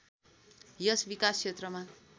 यस विकास क्षेत्रमा